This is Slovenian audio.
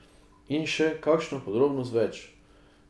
In še kakšno podrobnost več.